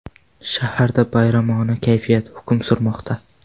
Shaharda bayramona kayfiyat hukm surmoqda.